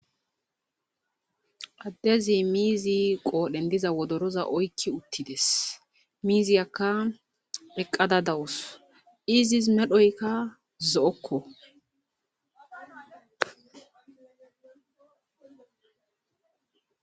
addezi miizi qoodhen diza wodoroza oykki uttides miiziyakka eqqada dawus izis medhoykka zo7okko